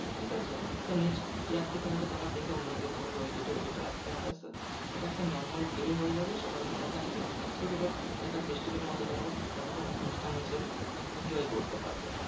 ঠিকাছে? তো next year থেকে হয়তো তোমার দেখে অন্য কেউ করবে ওই date এ। ওই date এ আসতে আসতে আসতে আসতে ওটা একটা normal day হয়ে যাবে। সবার মনে থাকবে। ওই date এ একটা festival মতো তোমার ওটাকে অনুষ্ঠান হিসেবে enjoy করতে পারবে।